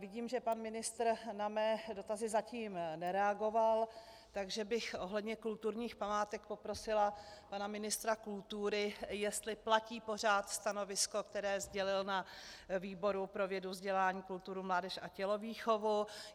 Vidím, že pan ministr na mé dotazy zatím nereagoval, takže bych ohledně kulturních památek poprosila pana ministra kultury, jestli platí pořád stanovisko, které sdělil na výboru pro vědu, vzdělání, kulturu, mládež a tělovýchovu.